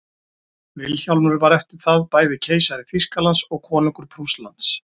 vilhjálmur var eftir það bæði keisari þýskalands og konungur prússlands